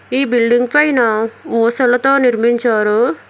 ఈ బిల్డింగ్ పైన ఒసులతో నిర్మించారు.